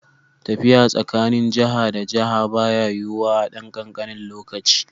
Tafiya tsakanin jiha da jiha baya yiwuwa a ɗan kankanin lokaci.